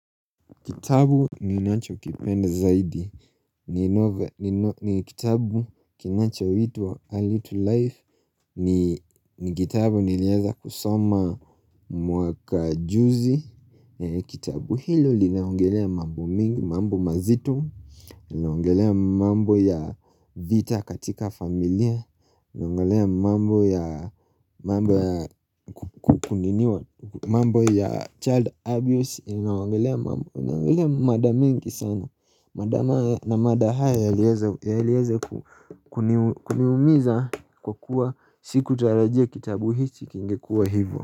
Kitabu ninachokipenda zaidi ni novel ni kitabu kinanchoitwa early to life ni kitabu nilieza kusoma mwaka juzi Kitabu hilo linaongelea mambo mingi, mambo mazito linaongelea mambo ya vita katika familia inaongelea mambo ya child abuse inaongelea mada mingi sana mada ma na mada haya yaliyeze kuni kuniumiza kwa kuwa sikutarajia kitabu hichi kingekuwa hivo.